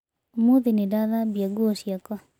Ũmũthĩ nĩ ndathambia nguo ciakwa.